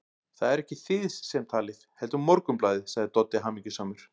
Það eruð ekki þið sem talið, heldur Morgunblaðið, sagði Doddi hamingjusamur.